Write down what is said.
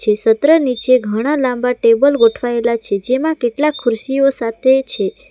સત્ર નીચે ઘણા લાંબા ટેબલ ગોઠવાયેલા છે જેમા કેટલાક ખુરશીઓ સાથે છે.